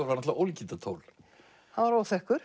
náttúrulega ólíkindatól hann var óþekkur